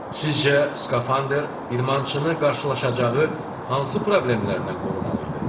Sizcə, skafandr idmançını qarşılaşacağı hansı problemlərdən qorumalı idi?